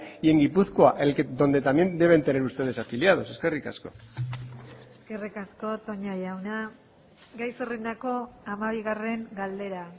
y en gipuzkoa donde también deben tener ustedes afiliados eskerrik asko eskerrik asko toña jauna gai zerrendako hamabigarren galdera